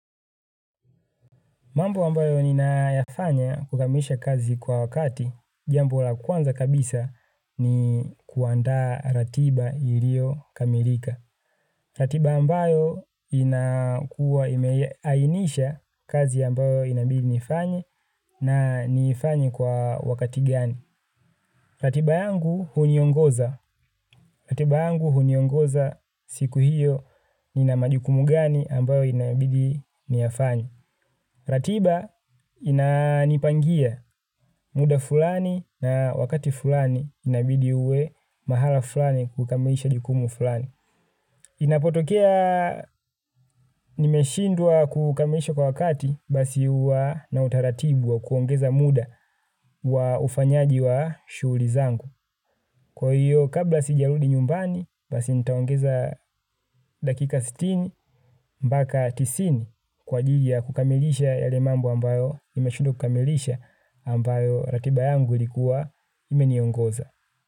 Mambo ambayo ninayafanya kukamilisha kazi kwa wakati, jambo la kwanza kabisa ni kuandaa ratiba iliyokamilika. Ratiba ambayo inakua imeainisha kazi ambayo inabidi nifanye na niifanye kwa wakati gani. Ratiba yangu huniongoza. Ratiba yangu huniongoza siku hiyo nina majukumu gani ambayo inabidi niyafanye. Ratiba inanipangia muda fulani na wakati fulani inabidi uwe mahala fulani kukamilisha jukumu fulani. Inapotokea nimeshindwa kukamilisha kwa wakati basi huwa na utaratibu wa kuongeza muda wa ufanyaji wa shughuli zangu. Kwa hiyo kabla sijarudi nyumbani basi nitaongeza dakika sitini mpaka tisini kwa ajili ya kukamilisha yale mambo ambayo nimeshindwa kukamilisha, ambayo ratiba yangu ilikuwa imeniongoza.